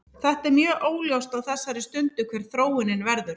Þetta er mjög óljóst á þessari stundu hver þróunin verður.